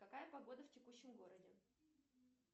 какая погода в текущем городе